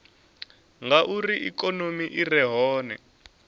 ngauri ikonomi i re hone